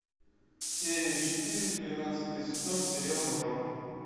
серия четыре тринадцатый сезон сериал мажор